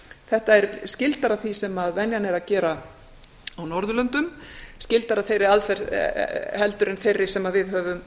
þetta er skyldara því sem venjan er að gera á norðurlöndum skyldara þeirri aðferð en þeirri sem við höfum